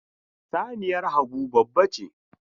Saniyar Habu babbace.